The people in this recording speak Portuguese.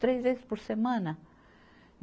três vezes por semana.